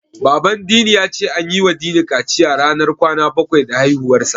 Baban Dini ya ce an yiwa Dini kaciya ranar kwana bakwai da haihuwarsa.